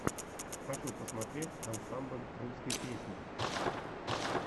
хочу посмотреть ансамбль русской песни